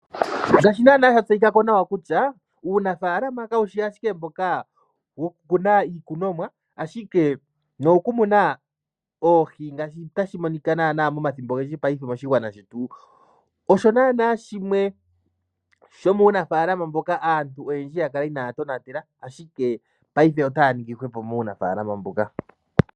Ngaashi naana sha tseyikako kutya uunafaalama kawushi ashike mboka woku kuna iikunomwa ashike no wokumuna oohi ngaashi tashi monika naana momathimbo ogendji paife moshigwana shetu osho naana shimwe sho muunafaalama mboka aantu oyendji yakala inaya tonatela ashike paife otaya ningi hwepo muunafaalama mbuka.